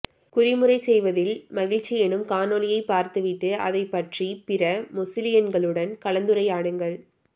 குறிமுறை செய்வதில் மகிழ்ச்சி எனும் காணோலியை பார்த்துவிட்டு அதைப்பற்றிப் பிற மொசிலியன்களுடன் கலந்துரையாடுங்கள்